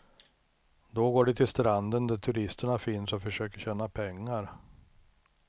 Då går de till stranden där turisterna finns och försöker tjäna pengar.